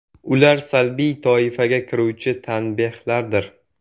Ular salbiy toifaga kiruvchi tanbehlardir.